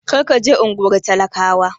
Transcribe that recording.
Kar ka je unguwar talakawa!